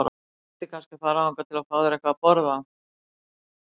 Þú ættir kannski að fara þangað og fá þér eitthvað að borða.